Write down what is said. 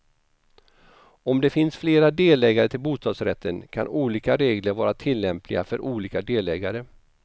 Om det finns flera delägare till bostadsrätten, kan olika regler vara tillämpliga för olika delägare.